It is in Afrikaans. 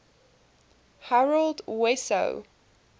harold wesso